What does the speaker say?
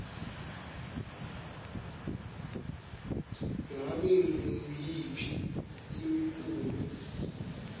ngabe nguyiphi imiculu